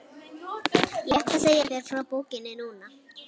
Ég ætla að segja þér frá bókinni núna.